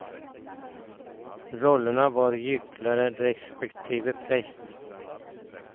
Rollerna var gycklare, respektive präst.